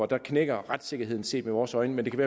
der knækker retssikkerheden set med vores øjne men det kan